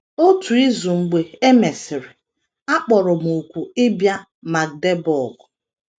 Otu izu mgbe e mesịrị, a kpọrọ m òkù ịbịa Magdeburg.